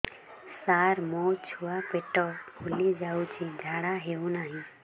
ସାର ମୋ ଛୁଆ ପେଟ ଫୁଲି ଯାଉଛି ଝାଡ଼ା ହେଉନାହିଁ